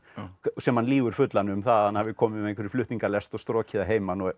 sem hann lýgur fullan um það að hann hafi komið með flutningalest og strokið að heiman